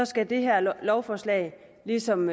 skal det her lovforslag ligesom